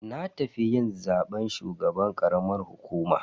Na tafi yin zaben shugaban karamar hukuma.